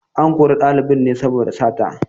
An kori ɗalibin ne saboda sata.